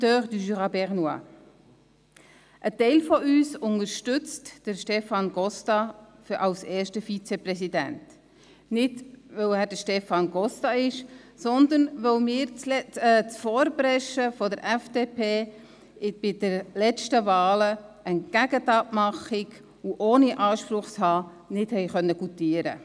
Ein Teil von uns unterstützt Stefan Costa als ersten Vizepräsidenten, nicht, weil er Stefan Costa ist, sondern weil wir das Vorpreschen der FDP bei den letzten Wahlen entgegen die Abmachung, ohne einen Anspruch zu haben, nicht goutieren konnten.